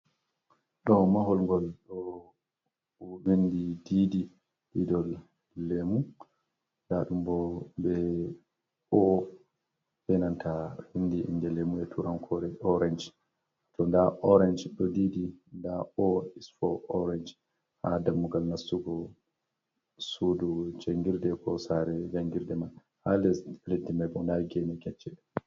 Ɗow mahol gol ɗool vindi ɗiɗi iɗol lemu. Nɗa ɗumbo Be o. Be nanta vinɗii inɗe lemu e turankore oranj. To nɗa oranj do ɗiɗi ɗ o is fo oranj ha dammugal nasugu suɗu jangirɗe ko sare jengirɗe mai. ha les leɗɗi mai bo nɗa ngene kecce.